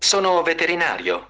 аа